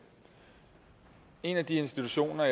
en af de institutioner